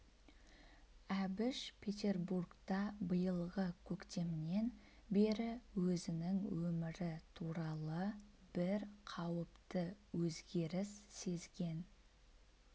әбіш петербургта биылғы көктемнен бері өзінің өмірі туралы бір қауіпті өзгеріс сезген